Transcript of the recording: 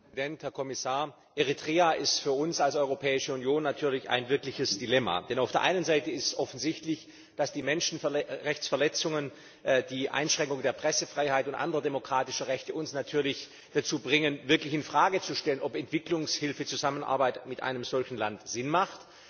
Herr Präsident, verehrter Herr Kommissar! Eritrea ist für uns als europäische Union natürlich ein wirkliches Dilemma, denn auf der einen Seite ist offensichtlich, dass die Menschenrechtsverletzungen, die Einschränkung der Pressefreiheit und anderer demokratischer Rechte uns natürlich dazu bringen, wirklich in Frage zu stellen, ob Entwicklungshilfezusammenarbeit mit einem solchen Land Sinn macht.